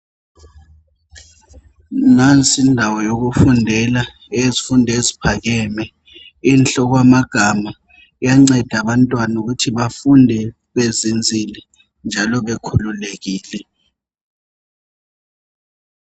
Nansi ndawo yokufundela eyezifundo eziphakeme. Inhle okwamagama, iyanceda abantwana ukuthi bafunde bezinzile njalo bekhululekile.